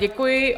Děkuji.